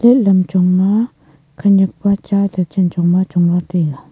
elam chong ma kanyak ma cha teche ma chong ma chong ma tega.